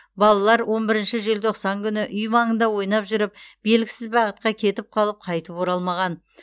балалар он бірінші желтоқсан күні үй маңында ойнап жүріп белгісіз бағытқа кетіп қалып қайтып оралмаған